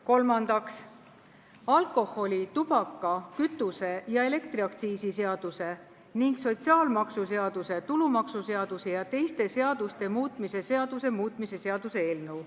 Kolmandaks, alkoholi-, tubaka-, kütuse- ja elektriaktsiisi seaduse ning sotsiaalmaksuseaduse, tulumaksuseaduse ja teiste seaduste muutmise seaduse muutmise seaduse eelnõu.